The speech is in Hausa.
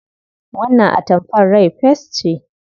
Wannan atamfar rai fes ce.